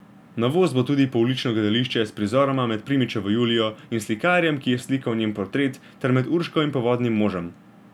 Novost bo tudi poulično gledališče s prizoroma med Primičevo Julijo in slikarjem, ki je slikal njen portret, ter med Urško in Povodnim možem.